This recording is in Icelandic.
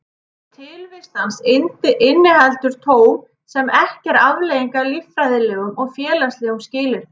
Tilvist hans inniheldur tóm sem ekki er afleiðing af líffræðilegum og félagslegum skilyrðum.